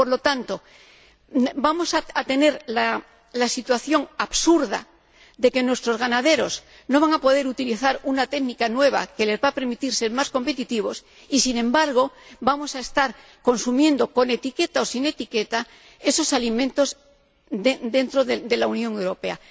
Por lo tanto, vamos a tener la situación absurda de que nuestros ganaderos no van a poder utilizar una técnica nueva que les va a permitir ser más competitivos y, sin embargo, vamos a estar consumiendo, con etiqueta o sin ella, esos alimentos dentro de la Unión Europea.